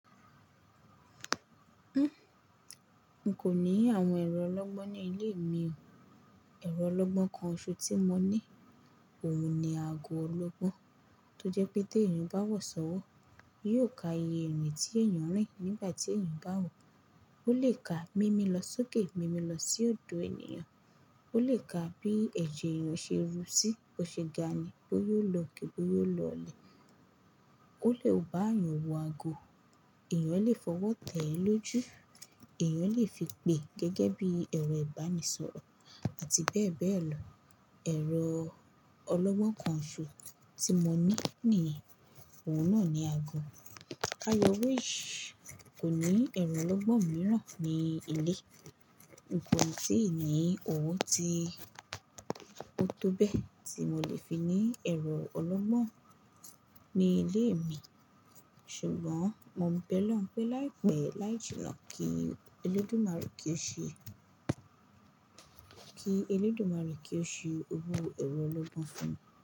N kò ní àwọn ẹ̀rọ ológbó ní ilé mi. Ẹ̀rọ ológbó kan ṣo tí mo ní, òun ni aago ológbó, tó jẹ́ pé tí èèyàn bá wọ̀sọ́wọ́, yóò ka iye èrìn tí èèyàn rìn nígbà tí èèyàn bá wọ. Ó lè ka mimi lọ sókè, mimi lọ sí òdo èèyàn, ó lè ka bí ẹ̀jẹ̀ èèyàn ṣe ru sí, bó ṣe ga ni, bó yóò lọ ge, bó yóò lọ le. Ó lè bá èèyàn wo ago, èèyàn lè fọwọ́ tẹ́ ẹ lójú, èèyàn lè fi pè gẹ́gẹ́ bí ẹ̀rọ ìbánisọ̀rọ̀ àti bẹ́ẹ̀ bẹ́ẹ̀ lọ. Ẹ̀rọ ológbó kan ṣo tí mo ní ni yẹ̀n, òun náà ni aago. Kayorish kò ní ẹ̀rọ ológbó mìíràn ní ilé. N kò tíì ní òwo tí-- òtóbẹ́ tí mo lè fi ní ẹ̀rọ ológbó ní ilé mi, ṣùgbọ́n mo ń bẹ́ lohun pé láìpẹ́ láìjìna kí Elédùmarè kí ó ṣe, kí Elédùmarè kí ó ṣe owo ẹ̀rọ ológbó fún mi.